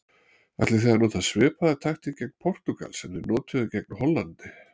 Ætlið þið að nota svipaða taktík gegn Portúgal sem þið notuðuð gegn Hollandi?